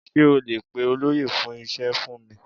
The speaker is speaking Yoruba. Sé o lè pe olóyè fún ise fún mi?